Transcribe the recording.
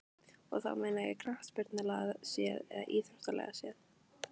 Og þá meina ég knattspyrnulega séð eða íþróttalega séð?